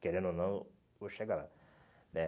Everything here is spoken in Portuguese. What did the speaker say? Querendo ou não, vou chegar lá né.